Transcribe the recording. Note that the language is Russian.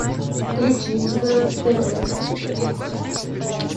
включи на тв успех